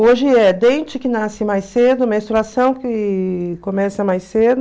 Hoje é dente que nasce mais cedo, menstruação que começa mais cedo.